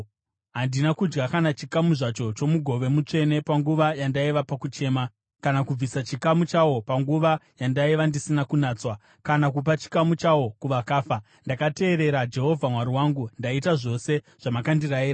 Handina kudya kana chikamu zvacho chomugove mutsvene panguva yandaiva pakuchema, kana kubvisa chikamu chawo panguva yandaiva ndisina kunatswa, kana kupa chikamu chawo kuvakafa. Ndakateerera Jehovha Mwari wangu; ndaita zvose zvamakandirayira.